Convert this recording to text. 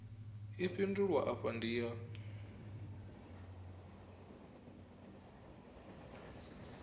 i fhindulwa afha ndi ya